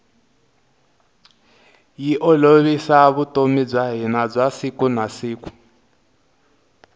yi olovisa vutomi bya hina bya siku na siku